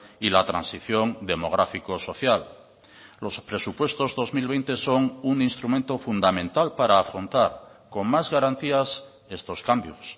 y la transición demográfico social los presupuestos dos mil veinte son un instrumento fundamental para afrontar con más garantías estos cambios